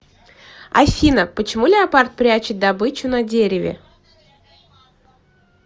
афина почему леопард прячет добычу на дереве